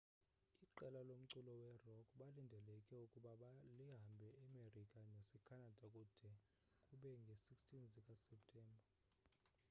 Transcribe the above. iqela lomculo werock belilindeleke ukuba lihambele emerika nasecanada kude kube ngee-16 zikaseptemba